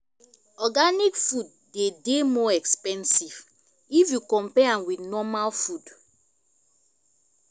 organic food de dey more expensive if you compare am with normal food